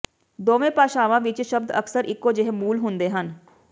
ਦੋਵੇਂ ਭਾਸ਼ਾਵਾਂ ਵਿਚ ਸ਼ਬਦ ਅਕਸਰ ਇਕੋ ਜਿਹੇ ਮੂਲ ਹੁੰਦੇ ਹਨ